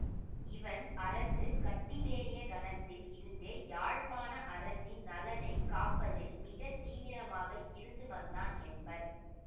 இவன் அரசு கட்டிலேறிய கணத்தில் இருந்தே யாழ்ப்பாண அரசின் நலனை காப்பதில் மிக தீவிரமாக இருந்து வந்தான் என்பர்